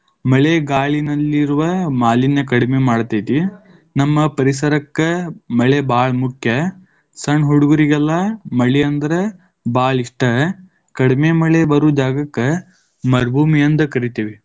ಮಳೆ ಗಾಳಿನಲ್ಲಿರುವ ಮಾಲಿನ್ಯ ಕಡಿಮೆ ಮಾಡತೈತಿ. ನಮ್ಮ ಪರಿಸರಕ್ಕ ಮಳೆ ಭಾಳ ಮುಖ್ಯ. ಸಣ್ಣ ಹುಡುಗರಿಗೆಲ್ಲಾ ಮಳಿ ಅಂದ್ರ ಭಾಳ ಇಷ್ಟ. ಕಡಿಮೆ ಮಳೆ ಬರು ಜಾಗಕ್ಕ ಮರುಭೂಮಿ ಅಂದ ಕರಿತೇವಿ.